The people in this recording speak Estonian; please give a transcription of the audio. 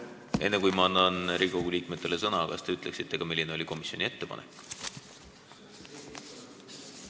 Enne kui ma annan Riigikogu liikmetele sõna, kas te ütleksite, milline oli komisjoni ettepanek?